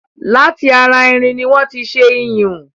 Láti ara irin ni wọ́n tí ṣé iyùn